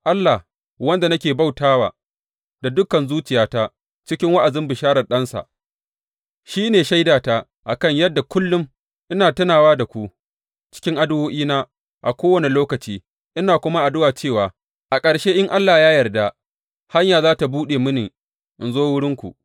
Allah, wanda nake bauta wa da dukan zuciyata cikin wa’azin bisharar Ɗansa, shi ne shaidata a kan yadda kullum ina tunawa da ku cikin addu’o’ina a kowane lokaci; ina kuma addu’a cewa a ƙarshe in Allah ya yarda hanya za tă buɗe mini in zo wurinku.